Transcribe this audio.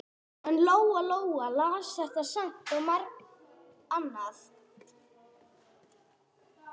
En Lóa Lóa las þetta samt og margt annað.